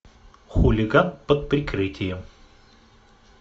хулиган под прикрытием